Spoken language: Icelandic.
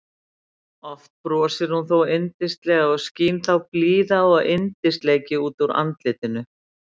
Oft brosir hún þó yndislega og skín þá blíða og yndisleiki út úr andlitinu.